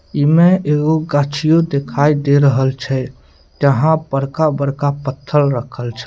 एमे एगो गछियो दिखाई दे रहल छै जहाँ बड़का-बड़का पत्थर रखल छै।